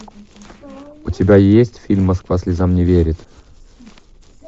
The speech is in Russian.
у тебя есть фильм москва слезам не верит